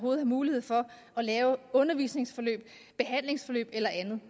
er mulighed for at lave undervisningsforløb behandlingsforløb eller andet